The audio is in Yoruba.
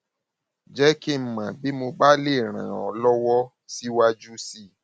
jẹ kí n mọ bí mo bá lè ràn ọ lọwọ síwájú sí i